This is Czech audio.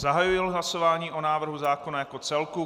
Zahajuji hlasování o návrhu zákona jako celku.